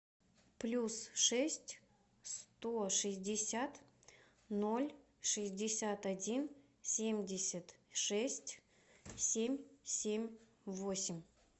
плюс шесть сто шестьдесят ноль шестьдесят один семьдесят шесть семь семь восемь